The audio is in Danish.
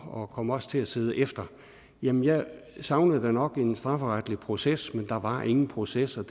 og kom også til at sidde efter jamen jeg savnede da nok en strafferetlig proces men der var ingen processer